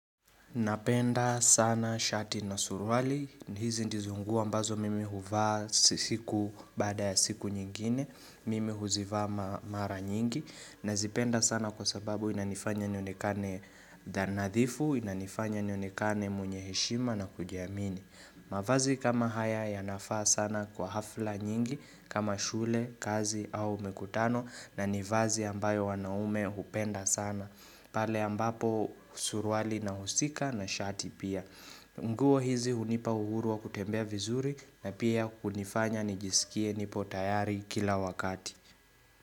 Napenda sana shati na surwali. Hizi ndizo nguo ambazo mimi huvaa siku baada ya siku nyingine. Mimi huzivaa ma mara nyingi. Nazipenda sana kwa sababu inanifanya nionekane da nadhifu, inanifanya nionekane mwenye heshima na kujiamini. Mavazi kama haya yanafaa sana kwa hafla nyingi kama shule, kazi au makutano na ni vazi ambayo wanaume hupenda sana. Pale ambapo surwali inahusika na shati pia nguo hizi hunipa uhuru wa kutembea vizuri na pia kunifanya nijisikie nipo tayari kila wakati.